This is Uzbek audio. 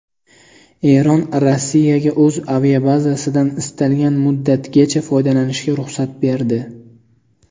Eron Rossiyaga o‘z aviabazasidan istalgan muddatgacha foydalanishga ruxsat berdi.